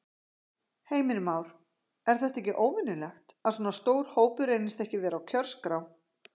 Heimir Már: Er þetta ekki óvenjulegt, að svona stór hópur reynist ekki vera á kjörskrá?